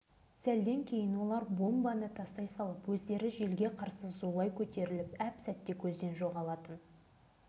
сонда шырқау биіктен тура біздің үстімізге қарай төніп келе жатырған екі самолет көрінуші еді